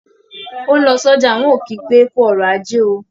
Ó ń lọ sọ́jà, ń ò kí pé "kú ọrọ̀ ajé o"